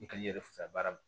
I kan i yɛrɛ fisayara ma